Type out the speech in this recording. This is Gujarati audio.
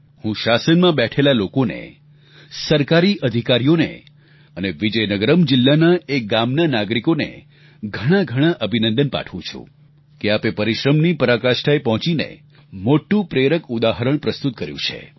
હું શાસનમાં બેઠેલા લોકોને સરકારી અધિકારીઓ અને વિજયનગરમ જિલ્લાના એ ગામના નાગરિકોને ઘણાંઘણાં અભિનંદન પાઠવું છું કે આપે પરિશ્રમની પરાકાષ્ઠાએ પહોંચીને મોટું પ્રેરક ઉદાહરણ પ્રસ્તુત કર્યું છે